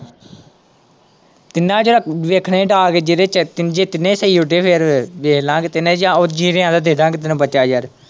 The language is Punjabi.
ਤਿੰਨਾਂ ਚੋਂ ਰਾਤੀਂ ਵੇਖਣੇ ਡਾਂਅ ਕੇ ਜਿਹੜੇ ਚ ਜੇ ਤਿੰਨੇ ਸਹੀ ਉੱਡੇ ਫੇਰ ਦੇਖ ਲਵਾਂਗੇ ਤਿੰਨੇ ਜਾ ਜੀਣੇ ਵਾਲਾ ਦੇ ਦੇਵਾਂਗੇ ਬੱਚਾ ਯਾਰ।